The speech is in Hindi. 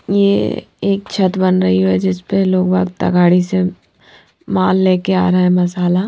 ये एक छत बन रही है जिसपे लोग वार्ता गाडी से माल लेके आरा है मसाला --